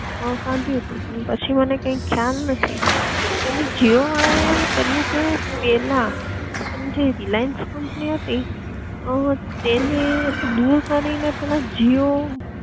કાઢ્યું તું, પણ પછી મને કઈ ખ્યાલ નથી, અને જીઓ વાળા એ એવું કર્યું કે પેલા પોતાની જે રિલાયન્સ કંપની હતી તેને દૂર કરી ને પેલા જીઓ